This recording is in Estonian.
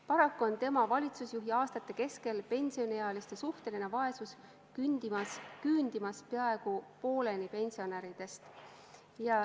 Paraku on tema valitsusjuhiaastate kestel suhtelises vaesuses elavate pensioniealiste arv küündimas peaaegu pooleni pensionäridest.